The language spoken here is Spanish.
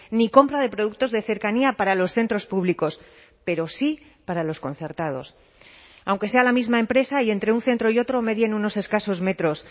ni compra de productos de cercanía para los centros públicos pero sí para los concertados aunque sea la misma empresa y entre un centro y otro medien unos escasos metros